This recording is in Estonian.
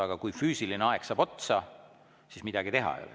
Aga kui füüsiline aeg saab otsa, siis midagi teha ei ole.